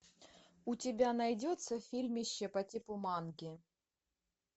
у тебя найдется фильмище по типу манки